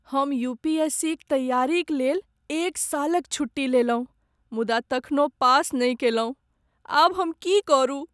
हम U. P. S. C. क तैयारी क लेल एक सालक छुट्टी लेलहुँ मुदा तखनो पास नहि कयलहुँ। आब हम की करू?